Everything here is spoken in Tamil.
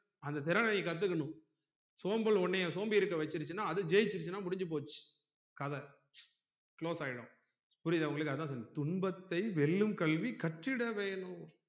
அந்த திறனை நீ கத்துக்கணும் சோம்பல் உன்னை சோம்பேறிக்க வச்சிருச்சுனா அது ஜெயிச்சுருச்சுனா முடிஞ்சு போச்சு கதை close ஆகிடும் புரிதா உங்களுக்கு அதான் சொல்ற துன்பத்தை வெல்லும் கல்வி கற்றிட வேணும்